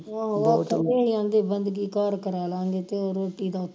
ਆਹੋ ਉਹ ਤੇ ਆਂਦੇ ਉਹ ਬੰਦਗੀ ਘਰ ਕਰਾਲਾਗੇ ਤੇ ਰੋਟੀ ਦਾ ਉਥੇ